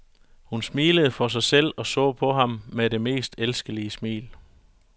Hun smilede for sig selv og så på ham med det mest elskelige smil.